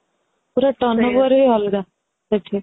ପୁରା turn over ହି ଲାଗ ପୁରା